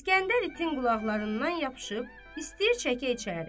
İsgəndər itin qulaqlarından yapışıb istəyir çəkə içəri.